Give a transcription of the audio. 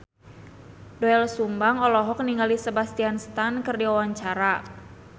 Doel Sumbang olohok ningali Sebastian Stan keur diwawancara